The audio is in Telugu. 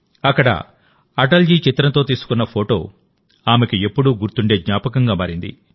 అక్కడ అటల్ జీ చిత్రంతో తీసుకున్న ఫోటో ఆమెకుఎప్పుడూ గుర్తుండే జ్ఞాపకంగా మారింది